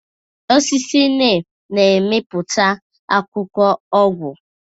Osisi Nịm na-amịpụta akwụkwọ ọgwụ.